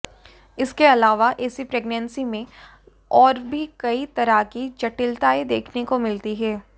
इसके अलावा ऐसी प्रेग्नेंसी में और भी कई तरह की जटिलताएं देखने को मिलती है